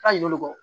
A ɲin'olu kɔ